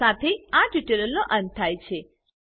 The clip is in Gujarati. આ શાથે આ ટ્યુટોરીયલનો અંત થયા છે